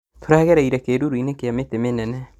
Tũragereire kĩruru-inĩ kĩa mĩtĩ mĩnene